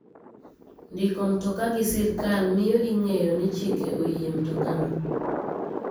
Ndiko mtoka gi sirkal miyo ing'eyo ni chike oyie mtokano.